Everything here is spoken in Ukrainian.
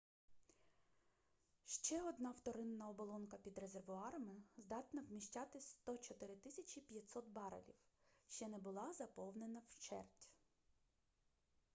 ще одна вторинна оболонка під резервуарами здатна вміщати 104 500 барелів ще не була заповнена вщерть